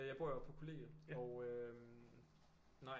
Jeg bor jo på kollegiet og øh nej